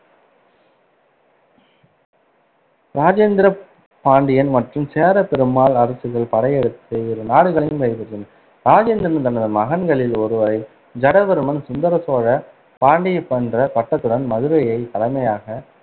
ராஜேந்திரன் பாண்டிய மற்றும் சேர பெருமாள் அரசுகளுக்கு படையெடுத்து இரு நாடுகளையும் கைப்பற்றி ராஜேந்திரன் தனது மகன்களில் ஒருவரை ஜடவர்மன் சுந்தர சோழ பாண்டிய என்ற பட்டத்துடன் மதுரையை தலைமையாக